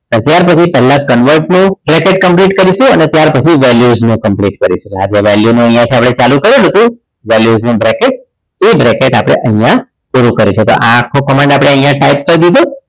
અને ત્યાર પછી પહેલા convert લો bracket complete કરીશું અને ત્યાર પછી valuation complete કરીશું આજે value માં આપણે અહીંયા થી ચાલુ કરીએ valuation bracket એ bracket આપણે અહીંયા પૂરું કરીશું તો આ આખો command આપણે અહીંયા type કરી નાખ્યો